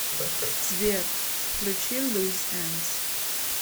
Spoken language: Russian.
сбер включи луз эндс